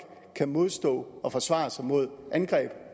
kan modstå og forsvare sig mod angreb